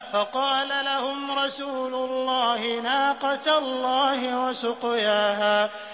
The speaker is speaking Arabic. فَقَالَ لَهُمْ رَسُولُ اللَّهِ نَاقَةَ اللَّهِ وَسُقْيَاهَا